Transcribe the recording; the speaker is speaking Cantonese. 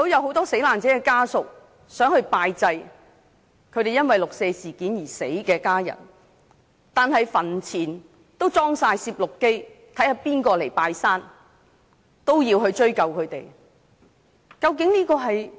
很多死難者的家屬想拜祭因為六四事件而離世的家人，但墳前安裝了攝錄機拍攝誰人前來拜祭，要追究他們。